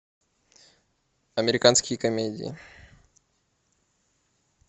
американские комедии